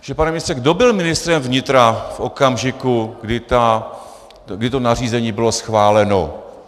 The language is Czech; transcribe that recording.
Takže pane ministře, kdo byl ministrem vnitra v okamžiku, kdy to nařízení bylo schváleno?